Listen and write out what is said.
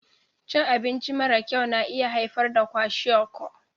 Cin abinci mara kyau na iya haifar da kwashiorkor.